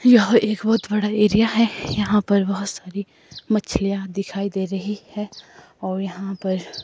यह एक बहोत बड़ा एरिया है यहां पर बहोत सारी मछलियां दिखाई दे रही है और यहां पर--